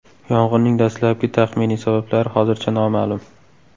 Yong‘inning dastlabki taxminiy sabablari hozircha noma’lum.